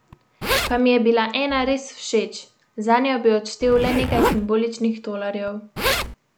Pa mi je bila ena res všeč, zanjo bi odštel le nekaj simboličnih tolarjev.